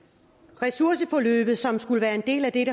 ressourceforløbet som skulle være en del af det